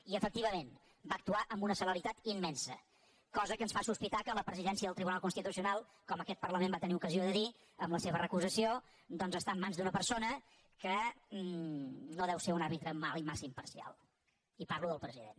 i efectivament va actuar amb una celeritat immensa la qual cosa ens fa sospitar que la presidència del tribunal constitucional com aquest parlament va tenir ocasió de dir en la seva recusació doncs està en mans d’una persona que no deu ser un àrbitre massa imparcial i parlo del president